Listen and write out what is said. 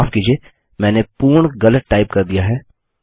माफ कीजिए मैंने पूर्ण गलत टाइप कर दिया है